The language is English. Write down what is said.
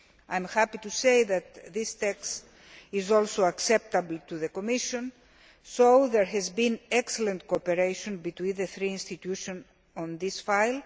I am happy to say that this text is also acceptable to the Commission, so there has been excellent cooperation between the three institutions on this file.